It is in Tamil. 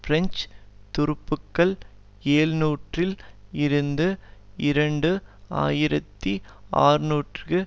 பிரெஞ்சு துருப்புக்கள் எழுநூறில் இருந்து இரண்டு ஆயிரத்தி அறுநூறுக்கு